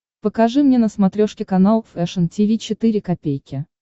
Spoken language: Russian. покажи мне на смотрешке канал фэшн ти ви четыре ка